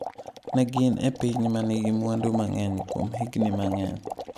Ne gin e piny ma nigi mwandu mang’eny kuom higni mang’eny.